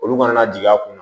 Olu kana na jigin a kun na